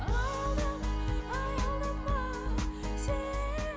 аялдама аялдама сен